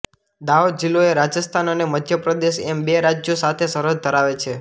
દાહોદ જીલ્લો એ રાજસ્થાન અને મઘ્ય પ્રદેશ એમ બે રાજ્યો સાથે સરહદ ધરાવે છે